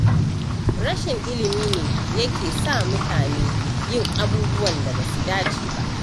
Rashin ilimi ne yake sa mutane yin abubuwan da ba su dace ba.